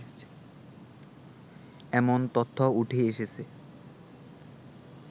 এমন তথ্য উঠে এসেছে